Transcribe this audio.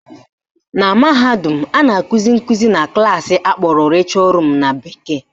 Na mahadum, a na-akụzi nkụzi na klaasị akpọrọ lecture room na bekee